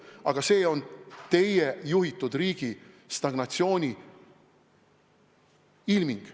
Aga see on teie juhitud riigi stagnatsiooni ilming.